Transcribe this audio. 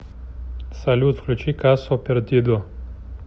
салют включи касо пердидо